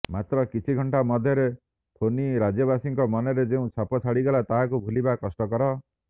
ମାତ୍ର କିଛି ଘଣ୍ଟା ମଧ୍ୟରେ ଫୋନି ରାଜ୍ୟବାସୀଙ୍କ ମନରେ ଯେଉଁ ଛାପ ଛାଡିଗଲା ତାହାକୁ ଭୁଲିବା କଷ୍ଟକର